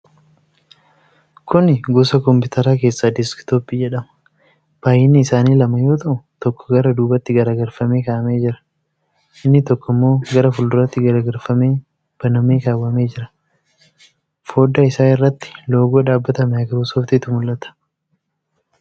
Kuni gosa kompiitaraa keessa deskitooppii jedhama. Baay'inni isaanii lama yoo ta'u tokko gara duubatti gargalfamee kaa'amee jira. Inni tokkommoo gara fuulduraatti garagalfamee banamee kaawwamee jira. Foddaa isaa irratti loogoo dhaabbata maayikiroosooftitu mul'ata.